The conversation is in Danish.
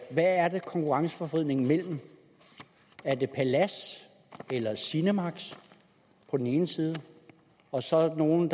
hvad er det konkurrenceforvridning mellem er det palads eller cinemax på den ene side og så nogle